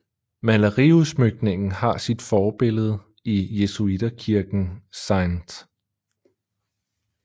Maleriudsmykningen har sit forbillede i jesuiterkirken St